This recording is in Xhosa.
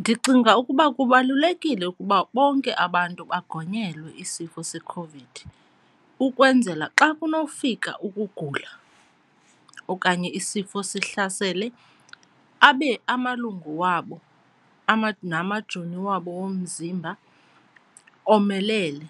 Ndicinga ukuba kubalulekile ukuba bonke abantu bagonyelwa isifo seCOVID ukwenzela xa kunokufika ukugula okanye isifo sihlasele abe amalungu wabo namajoni wabo womzimba omelele